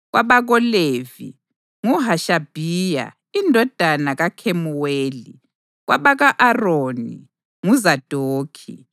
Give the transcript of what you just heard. kwabakoLevi: nguHashabhiya indodana kaKhemuweli; kwabako-Aroni: nguZadokhi;